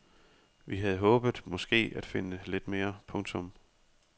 Vi havde måske håbet af finde lidt mere. punktum